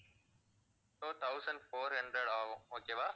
so, thousand four hundred ஆகும் okay வா?